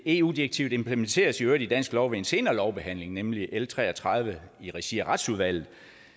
eu direktivet implementeres i øvrigt i dansk lov ved en senere lovbehandling nemlig af l tre og tredive i regi af retsudvalget